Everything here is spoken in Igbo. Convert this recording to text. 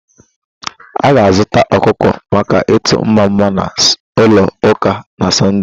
A ga-azụta ọkụkọ maka itu mmama na ulo uka na Sọnde